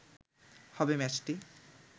হবে ম্যাচটি